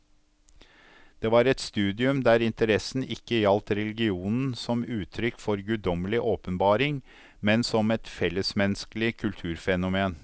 Det var et studium der interessen ikke gjaldt religionen som uttrykk for guddommelig åpenbaring, men som et fellesmenneskelig kulturfenomen.